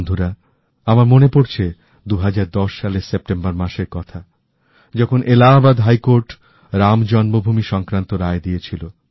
বন্ধুরা আমার মনে পড়ছে ২০১০ সালের সেপ্টেম্বর মাসের কথা যখন এলাহাবাদ হাইকোর্ট রাম জন্মভূমি সংক্রান্ত রায় দিয়েছিল